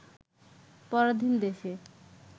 পরাধীন দেশে